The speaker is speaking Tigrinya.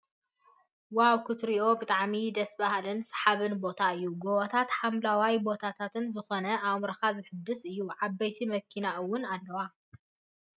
ዋው ክትርእዮ ብጣዕሚ ደስ ብሃልን ስሓብን ቦታ እዩ። ጎቦታትን ሓምለዋይ ቦታን ዝኮነ ኣእምሮካ ዘሕድሰካ እዩ ።ዓበይቲ መኪናታት እውን ኣለዋ ።